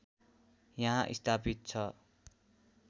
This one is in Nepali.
यहाँ स्थापित छ